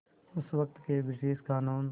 उस वक़्त के ब्रिटिश क़ानून